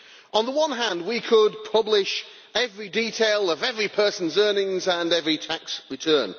On the one hand, we could publish every detail of every person's earnings and every tax return.